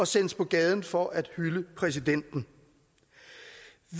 sendes på gaden for at hylde præsidenten